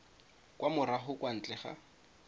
kwa morago kwa ntle ga